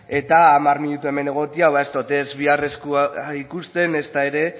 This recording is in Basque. eta hamar minutu hemen egotea ba ez dot ez bihar eskua ikusten ezta ere